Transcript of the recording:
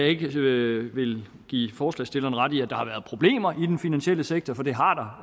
ikke vil vil give forslagsstillerne ret i at der har været problemer i den finansielle sektor for det har der